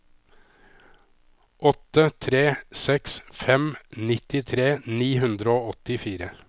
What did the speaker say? åtte tre seks fem nittitre ni hundre og åttifire